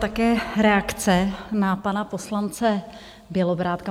Také reakci na pana poslance Bělobrádka.